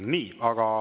Nii.